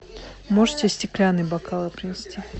можете стеклянные бокалы принести